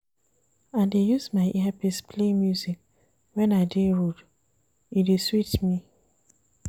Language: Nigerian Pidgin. I dey use my earpiece play music wen I dey road, e dey sweet me.